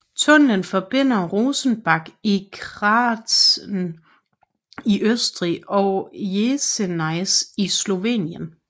Tunnelen forbinder Rosenbach i Kärnten i Østrig og Jesenice i Slovenien